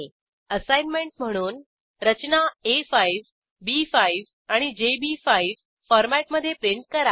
assignment म्हणून रचना आ5 बी5 आणि जेबी5 फॉरमॅटमधे प्रिंट करा